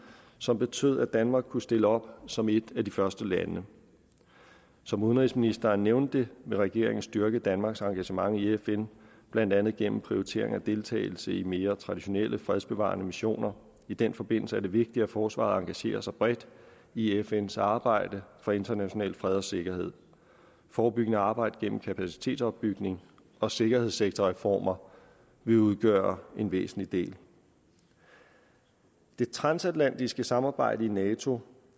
som betød at danmark kunne stille op som et af de første lande som udenrigsministeren nævnte vil regeringen styrke danmarks engagement i fn blandt andet gennem prioritering af deltagelse i mere traditionelle fredsbevarende missioner i den forbindelse er det vigtigt at forsvaret engagerer sig bredt i fns arbejde for international fred og sikkerhed forebyggende arbejde gennem kapacitetsopbygning og sikkerhedsektorreformer vil udgøre en væsentlig del det transatlantiske samarbejde i nato